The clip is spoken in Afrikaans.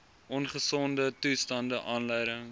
ongesonde toestande aanleiding